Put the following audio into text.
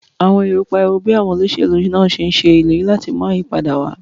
Àwọn èrò pariwo bí àwọn olóṣèlú náà ṣe ń ṣe ìlérí láti mú ayípadà wá.